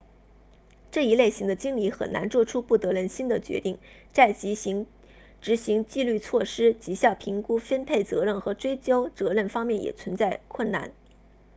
这一类型的经理很难做出不得人心的决定在执行纪律措施绩效评估分配责任和追究责任方面也存在困难